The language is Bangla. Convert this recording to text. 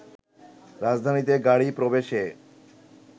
রাজধানীতে গাড়ী প্রবেশে